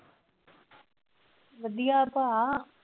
ਵਧੀਆ ਭਰਾ।